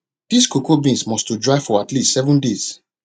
dis cocoa beans must to dry for at least seven days